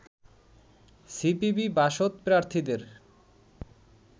সিপিবি-বাসদ প্রার্থীদের